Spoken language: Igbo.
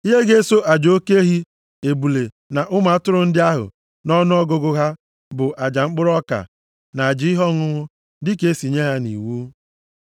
Ihe ga-eso aja oke ehi, ebule na ụmụ atụrụ ndị ahụ nʼọnụọgụgụ ha bụ aja mkpụrụ ọka, na aja ihe ọṅụṅụ dịka e si nye ya nʼiwu.